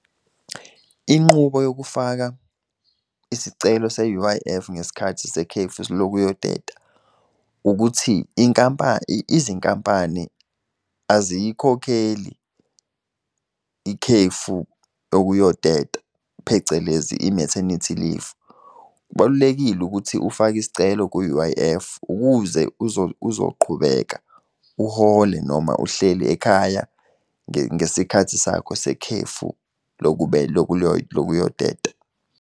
Inqubo yokufaka isicelo se-U_I_F ngesikhathi sekhefu lokuyoteta ukuthi izinkampani aziyikhokheli ikhefu lokuyoteta, phecelezi i-maternity leave. Kubalulekile ukuthi ufake isicelo ku-U_I_F, ukuze uzoqhubeka uhole noma uhleli ekhaya ngesikhathi sakho sekhefu lokuyoteta.